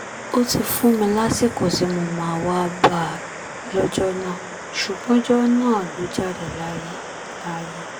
ó ti fún mi lásìkò tí mo máa wáá bá a lọ́jọ́ náà ṣùgbọ́n ọjọ́ náà ló jáde láyé láyé